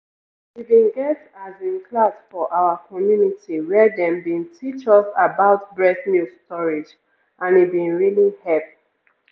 we bin get as in class for our community where dem bin teach us about breast milk storage and e bin really hep.